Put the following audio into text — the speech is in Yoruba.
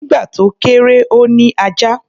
Nígbà tó kéré, ó ní ajá.